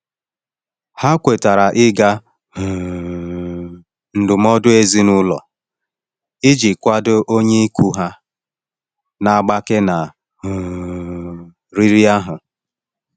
Ha kwetara ịga um ndụmọdụ ezinụlọ iji kwado onye ikwu ha na-agbake na um riri ahụ.